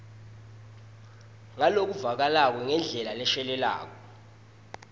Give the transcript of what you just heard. ngalokuvakalako ngendlela leshelelako